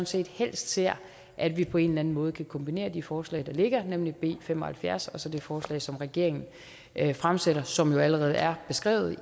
set helst ser at vi på en eller anden måde kan kombinere de forslag der ligger nemlig b fem og halvfjerds og så det forslag som regeringen fremsætter som allerede er beskrevet